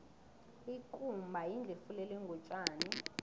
ikumba yindlu efulelwe ngotjani